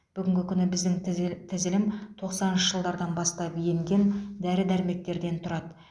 бүгінгі күні біздің тізіл тізілім тоқсаныншы жылдардан бастап енген дәрі дәрмектердер тұрады